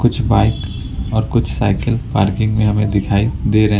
कुछ बाइक और कुछ साइकिल पार्किंग में हमें दिखाई दे रहे--